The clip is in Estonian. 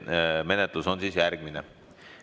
Menetlus on järgmine.